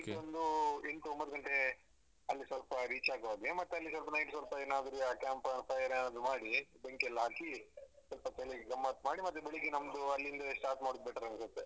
Night ಒಂದು ಎಂಟು ಒಂಬತ್ ಗಂಟೆ ಅಲ್ಲಿ ಸ್ವಲ್ಪ reach ಆಗುವಾಗೆ ಮತ್ತೆ ಅಲ್ಲಿ ಸ್ವಲ್ಪ night ಸ್ವಲ್ಪ ಏನಾದ್ರು ಯಾ camp fire ಏನಾದ್ರು ಮಾಡಿ ಬೆಂಕಿ ಎಲ್ಲ ಹಾಕಿ ಸ್ವಲ್ಪ ಹೋತ್ ಅಲ್ಲಿ ಗಮ್ಮತ್ ಮಾಡಿ ಮತ್ತೆ ಬೆಳಿಗ್ಗೆ ನಮ್ದು ಅಲ್ಲಿಂದವೆ start ಮಾಡುದು better ಅನ್ಸುತ್ತೆ.